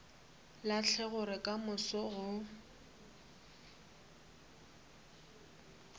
lahle gore ka moso go